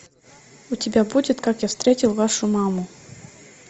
у тебя будет как я встретил вашу маму